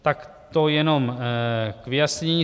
Tak to jenom k vyjasnění.